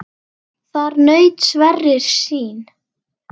Þar naut Sverrir sín.